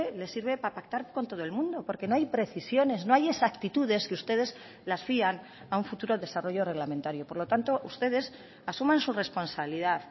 les sirve para pactar con todo el mundo porque no hay precisiones no hay exactitudes que ustedes las fían a un futuro desarrollo reglamentario por lo tanto ustedes asuman su responsabilidad